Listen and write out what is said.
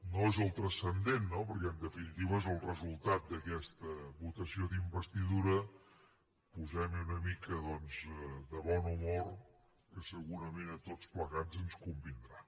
no és el transcendent no perquè en definitiva és el resultat d’aquesta votació d’investidura posemhi una mica doncs de bon humor que segurament a tots plegats ens convindrà